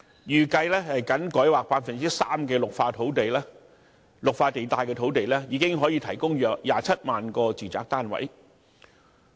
預計僅改劃 3% 的綠化地帶土地，已可提供約27萬個住宅單位。